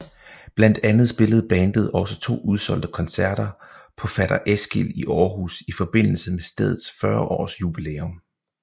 Blandt andet spillede bandet også to udsolgte koncerter på Fatter Eskil i Aarhus i forbindelse med stedets 40 års jubilæum